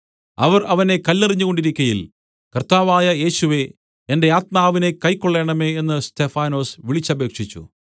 അവർ അവനെ കല്ലെറിഞ്ഞുകൊണ്ടിരിക്കയിൽ കർത്താവായ യേശുവേ എന്റെ ആത്മാവിനെ കൈക്കൊള്ളേണമേ എന്ന് സ്തെഫാനൊസ് വിളിച്ചപേക്ഷിച്ചു